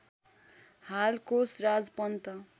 हाल कोषराज पन्त